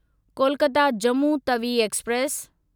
Kolkata Jammu Tawi express